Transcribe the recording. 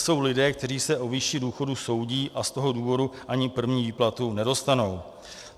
Jsou lidé, kteří se o výši důchodu soudí, a z toho důvodu ani první výplatu nedostanou.